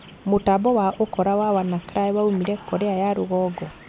Mũtambo wa ũkora wa Wannacry waumĩre Korea ya rũgongo?